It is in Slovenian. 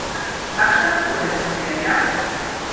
Kakšne napore to terja?